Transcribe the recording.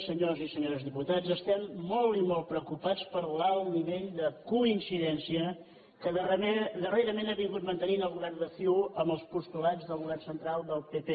senyors i senyores diputats estem molt i molt preocupats per l’alt nivell de coincidència que darrerament ha mantingut el govern de ciu amb els postulats del govern central del pp